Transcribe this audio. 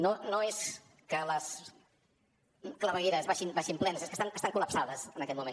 no és que les clavegueres baixin plenes és que estan col·lapsades en aquest moment